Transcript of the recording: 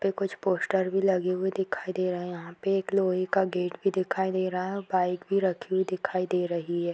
और कुछ पोस्टर भी लगे हुए दिखाई दे रहे हैं यहाँ पे एक लोहे का गेट भी दिखाई दे रहा है और बाइक भी रखी हुई दिखाई दे रही है।